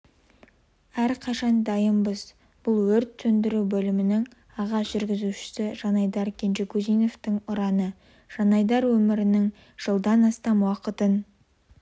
әрқашан дайынбыз бұл өрт сөндіру бөлімінің аға жүргізушісі жанайдар кенжегузиновтың ұраны жанайдар өмірінің жылдан астам уақытын